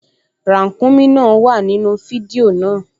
Ràǹkúnmí náà wà nínú fídíò náà